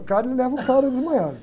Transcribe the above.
O cara, ele leva o cara desmaiado.